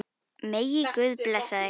Megi Guð blessa þig.